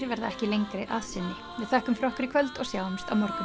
verða ekki lengri að sinni við þökkum fyrir okkur í kvöld og sjáumst á morgun